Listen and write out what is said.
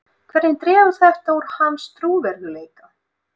Hvernig dregur þetta úr hans trúverðugleika?